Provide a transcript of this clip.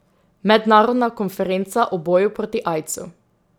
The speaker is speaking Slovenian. Mednarodna konferenca o boju proti aidsu.